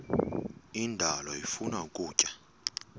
indalo ifuna ukutya